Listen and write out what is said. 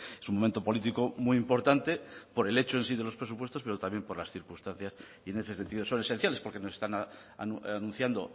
es un momento político muy importante por el hecho en sí de los presupuestos pero también por las circunstancias y en ese sentido son esenciales porque nos están anunciando